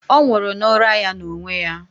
Ọ nwụrụ n'ụra ya n'onwe ya.